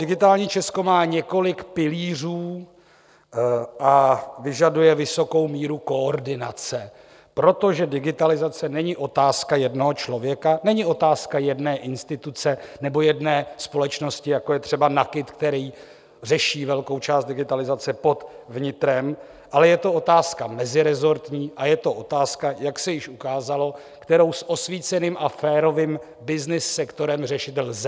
Digitální Česko má několik pilířů a vyžaduje vysokou míru koordinace, protože digitalizace není otázka jednoho člověka, není otázka jedné instituce nebo jedné společnosti, jako je třeba NAKIT, který řeší velkou část digitalizace pod vnitrem, ale je to otázka meziresortní a je to otázka, jak se již ukázalo, kterou s osvíceným a férovým byznys sektorem řešit lze.